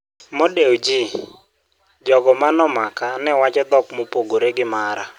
Mo Dewji: Jogo ma nomaka ne wacho dhok mopogore gi mara